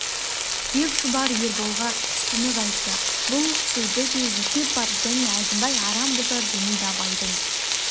деп шұбар ерболға түсінік айтты бұл сөзде де есеп бар және әзімбай арам бұзар демейді абайдың